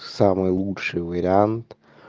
самый лучший вариант